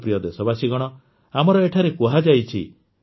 ମୋର ପ୍ରିୟ ଦେଶବାସୀଗଣ ଆମର ଏଠାରେ କୁହାଯାଇଛି